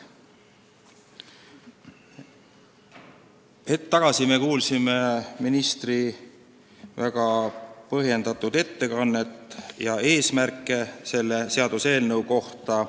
Hetk tagasi me kuulsime ministri väga põhjendatud ettekannet, sh selle seaduseelnõu eesmärke.